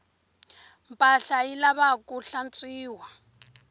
mpahla yi lavaku hlantswiwa